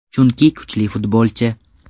Chunki kuchli futbolchi.